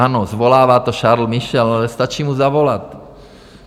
Ano, svolává to Charles Michel, ale stačí mu zavolat.